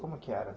Como é que era?